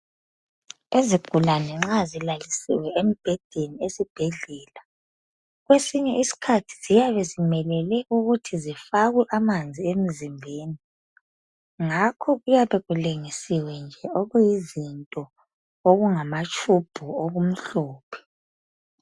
Izigulane nxa zilalisiwe embhedeni ezibhedlela kwesinye iskhathi siyabe zimelele ukuthi zifakwe amanzi emzimbeni ngakho kuyabe kulengisiwe nje okuyizinto okungamatube okumhlophe.